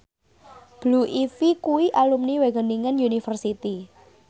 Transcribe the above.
Blue Ivy kuwi alumni Wageningen University